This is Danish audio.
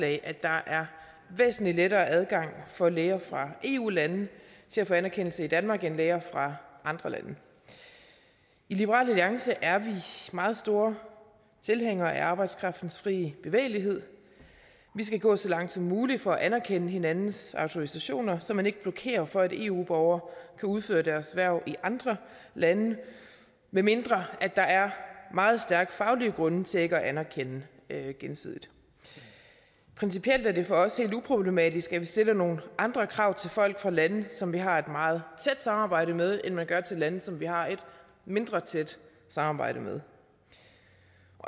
at der er væsentlig lettere adgang for læger fra eu lande til at få anerkendelse i danmark end for læger fra andre lande i liberal alliance er vi meget store tilhængere af arbejdskraftens frie bevægelighed vi skal gå så langt som muligt for at anerkende hinandens autorisationer så man ikke blokerer for at eu borgere kan udføre deres hverv i andre lande medmindre der er meget stærke faglige grunde til ikke at anerkende gensidigt principielt er det for os helt uproblematisk at vi stiller nogle andre krav til folk fra lande som vi har et meget tæt samarbejde med end vi gør til lande som vi har et mindre tæt samarbejde med